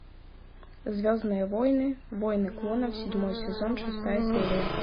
звездные войны войны клонов седьмой сезон шестая серия